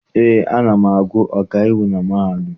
Eé, ana m agụ ọkaiwu na mahadum.